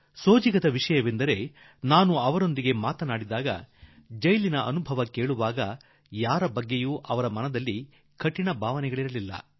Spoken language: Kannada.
ಸೋಜಿಗವೆಂದರೆ ನಾನು ಅವರೊಡನೆ ಮಾತನಾಡುವಾಗ ಅವರ ಸೆರೆಮನೆಯ ಅನುಭವವನ್ನು ಕೇಳುವಾಗ ಅವರ ಮಾತುಗಳಲ್ಲಿ ಯಾರ ಬಗೆಗೂ ಕಾಠಿಣ್ಯ ಇರಲಿಲ್ಲ